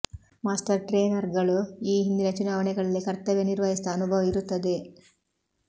master ಟ್ರೇನರ್ಗಳು ಈ ಹಿಂದಿನ ಚುನಾವಣೆಗಳಲ್ಲಿ ಕರ್ತವ್ಯ ನಿರ್ವಹಿಸಿದ ಅನುಭವ ಇರುತ್ತದೆ